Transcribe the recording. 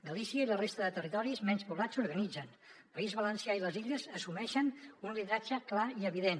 galícia i la resta de territoris menys poblats s’organitzen el país valencià i les illes assumeixen un lideratge clar i evident